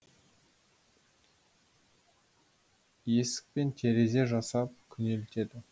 есік пен терезе жасап күнелтеді